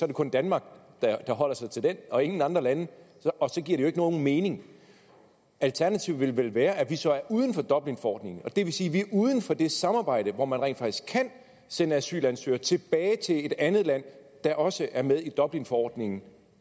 det kun danmark der holder sig til den og ingen andre lande og så giver det jo ikke nogen mening alternativet vil vel være at vi så er uden for dublinforordningen og det vil sige at vi er uden for det samarbejde hvor man rent faktisk kan sende asylansøgere tilbage til et andet land der også er med i dublinforordningen